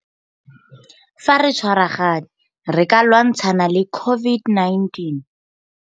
Fa re tshwaragane re ka lwantshana le COVID-19.